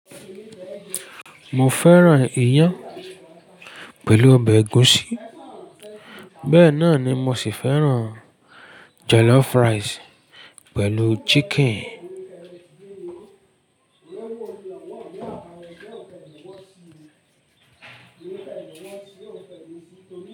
Mo fẹ́ràn iyán pẹ̀lú ọbẹ̀ ẹ̀gúsí. Bẹ́ẹ̀ náà ni mo sì fẹ́ràn jollof rice pẹ̀lú chicken.